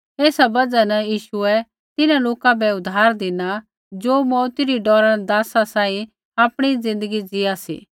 ऐसा बजहा न यीशुऐ तिन्हां लोका बै उद्धार धिना ज़ो मौऊती री डौरा न दासा सांही आपणी ज़िन्दगी ज़ीआ सी